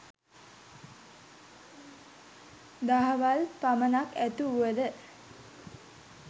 දහවල් පමණක් ඇතිවුවද